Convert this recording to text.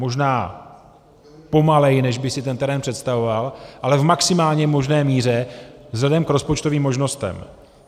Možná pomaleji, než by si ten terén představoval, ale v maximálně možné míře vzhledem k rozpočtovým možnostem.